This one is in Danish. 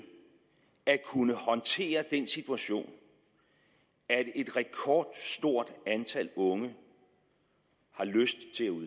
at kunne håndtere den situation at et rekordstort antal unge har lyst